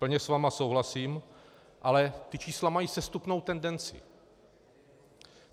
Plně s vámi souhlasím, ale ta čísla mají sestupnou tendenci.